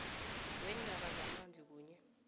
weendaba zamanzi kunye